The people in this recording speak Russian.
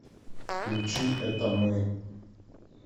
включи это мы